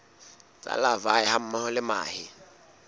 tsa larvae hammoho le mahe